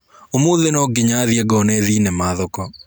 ũmũthĩ nonginya thiĩ ngone thinema thoko.